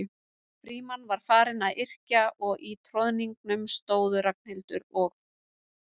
Frímann var farinn að yrkja og í troðningnum stóðu Ragnhildur og